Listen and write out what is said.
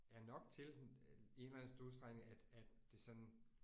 Er nok til i en eller anden udstrækning at det sådan